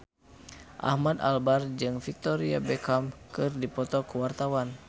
Ahmad Albar jeung Victoria Beckham keur dipoto ku wartawan